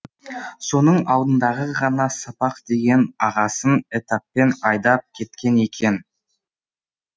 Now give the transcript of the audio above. соның алдындағы ғана сапақ деген ағасын этаппен айдап кеткен екен